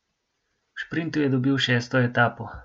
V šprintu je dobil šesto etapo.